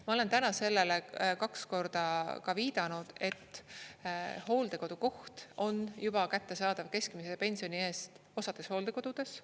Ma olen täna sellele kaks korda viidanud, et hooldekodukoht on juba kättesaadav keskmise pensioni eest osades hooldekodudes.